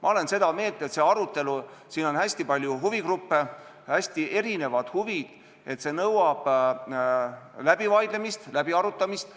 Ma olen seda meelt – siin on hästi palju huvigruppe, on hästi erinevad huvid –, et see nõuab läbivaidlemist, läbiarutamist.